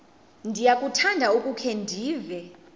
ndiyakuthanda ukukhe ndive